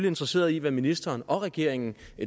interesseret i hvad ministeren og regeringen